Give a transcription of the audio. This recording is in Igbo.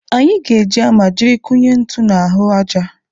Anyị ga-eji hama jiri kụnye ntu n'ahụ aja.